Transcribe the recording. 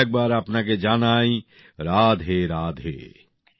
আরো একবার আপনাকে জানাই রাধে রাধে